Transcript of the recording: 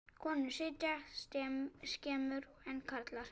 Konur sitja skemur en karlar.